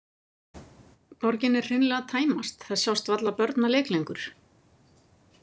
Borgin er hreinlega að tæmast, það sjást varla börn að leik lengur.